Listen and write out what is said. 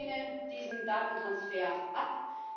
Ich lehne diesen Datentransfer ab.